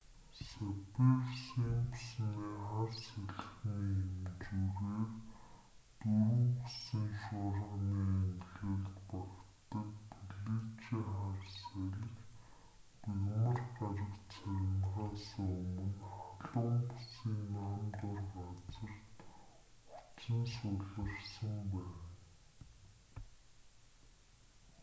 саффир-симпсоны хар салхины хэмжүүрээр 4 гэсэн шуурганы ангилалд багтдаг феличиа хар салхи мягмар гарагт сарнихаасаа өмнө халуун бүсийн нам дор газарт хүч нь суларсан байна